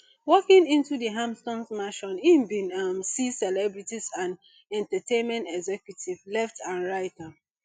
walking into di hamptons mansion im bin um see celebrities and entertainment executives left and right um